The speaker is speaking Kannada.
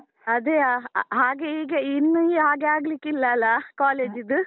ಅದೇಯಾ, ಹಾಗೆ ಈಗ ಇನ್ನು ಹಾಗೆ ಆಗ್ಲಿಕ್ಕಿಲ್ಲ ಅಲಾ college ದ್ದು?